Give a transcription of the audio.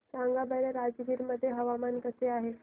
सांगा बरं राजगीर मध्ये हवामान कसे आहे